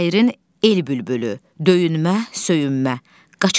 Şairin El bülbülü, döyünmə, söyünmə, Qaçaq Nəbi.